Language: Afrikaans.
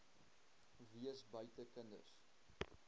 wees buite kinders